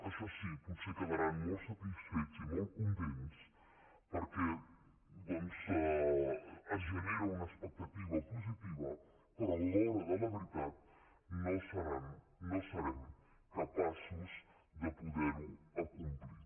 això sí potser quedaran molt satisfets i molt contents perquè doncs es genera una expectativa positiva però a l’hora de la veritat no serem capaços de poder ho acomplir